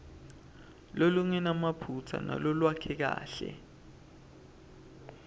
lolungenamaphutsa nalolwakheke kahle